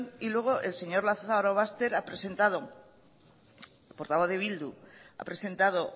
y luego el señor lazarobaster portavoz de bildu ha presentado